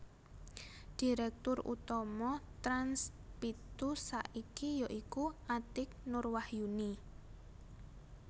Direktur Utama Trans pitu saiki ya iku Atiek Nur Wahyuni